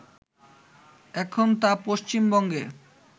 এখন তা পশ্চিমবঙ্গে